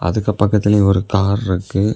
அதுக்கு பக்கத்துலயே ஒரு கார் இருக்கு.